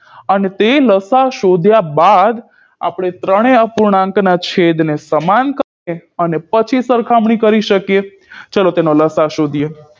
અને તે લસાઅ શોધ્યા બાદ આપણે ત્રણેય અપૂર્ણાંકના છેદને સમાન કરીએ અનેપછી સરખામણી કરી શકીએ ચલો તેનો લસાઅ શોધીએ